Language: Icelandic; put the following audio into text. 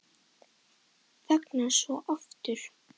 Þagnar svo aftur.